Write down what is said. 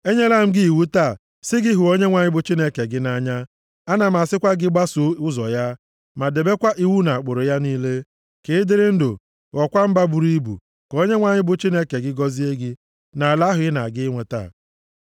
Enyela m gị iwu taa, sị gị hụ Onyenwe anyị bụ Chineke gị nʼanya, ana m asịkwa gị gbasoo ụzọ ya, ma debekwa iwu na ụkpụrụ ya niile, ka ị dịrị ndụ, ghọọkwa mba buru ibu, ka Onyenwe anyị bụ Chineke gị gọzie gị nʼala ahụ ị na-aga inweta.